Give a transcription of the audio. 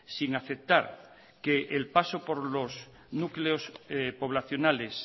sin aceptar que el paso por los núcleos poblacionales